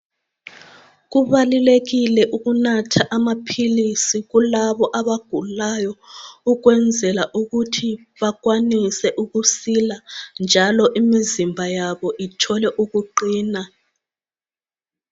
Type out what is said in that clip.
Kubalulekile ukunatha amaphilisi kulabo abagulayo, ukwezela ukuthi bakwanise ukusila, njalo imizimba yabo ithole ukuqina.